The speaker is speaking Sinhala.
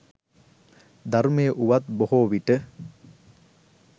ධර්මය වුවත් බොහෝ විට